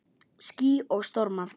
Ský og stormar